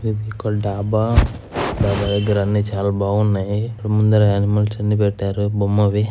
ఇసికల్ డాబా డాబా దగ్గర అన్ని చాలా బాగున్నాయి. ముందర అనిమల్స్ అన్ని పెట్టారు బొమ్మవి.